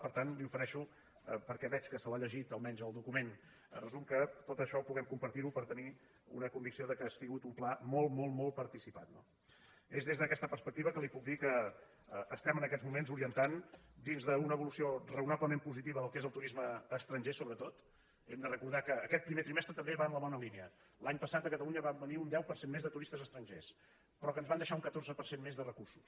per tant li ofereixo per·què veig que se l’ha llegit almenys el document re·sum que tot això ho puguem compartir per tenir una convicció que ha sigut un pla molt molt molt parti·cipat no és des d’aquesta perspectiva que li puc dir que estem en aquests moments orientant dins d’una evolució rao·nablement positiva del que és el turisme estranger so·bretot hem de recordar que aquest primer trimestre també va en la bona línia l’any passat a catalunya va venir un deu per cent més de turistes estrangers però que ens van deixar un catorze per cent més de recursos